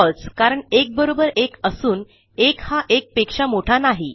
फळसे कारण 1 बरोबर 1 असून 1हा 1पेक्षा मोठा नाही